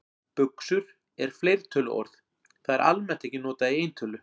Buxur er fleirtöluorð, það er almennt ekki notað í eintölu.